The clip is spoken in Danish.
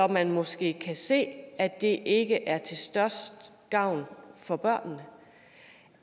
man måske kan se at det ikke er til størst gavn for børnene